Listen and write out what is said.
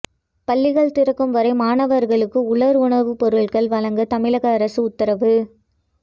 பள்ளிகள் திறக்கும் வரை மாணவர்களுக்கு உலர் உணவுப் பொருள்கள் வழங்க தமிழக அரசு உத்தரவு